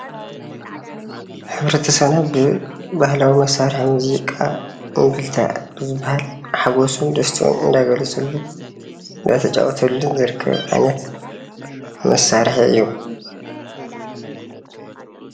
ሕብረተሰብና ብባህላዊ መሳርሒ ሙዚቃ እምብልታ ብዝብሃል ሓጉሱን ደስቱኡን እንዳገለፀሉን እንዳተጫወተሉን ዝርከብ ዓይነት መሳርሒ እዩ።